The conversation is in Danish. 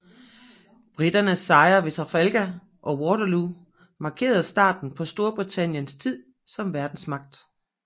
Briternes sejre ved Trafalgar og Waterloo markerede starten på Storbritanniens tid som verdensmagt